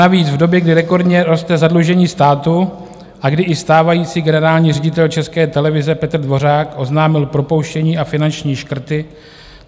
Navíc v době, kdy rekordně roste zadlužení státu a kdy i stávající generální ředitel České televize Petr Dvořák oznámil propouštění a finanční škrty.